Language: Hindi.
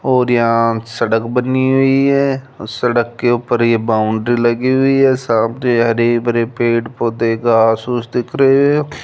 और यहां सड़क बनी हुई है सड़क के ऊपर ये बाउंड्री लगी हुई है सामने हरे भरे पेड़ पौधे घास ओस दिख रहे हैं।